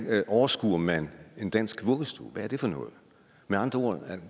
overskuer man det en dansk vuggestue hvad er det for noget med andre ord